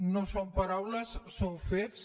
no són paraules són fets